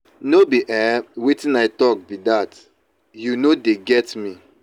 no be um wetin i talk be dat. you no dey get me.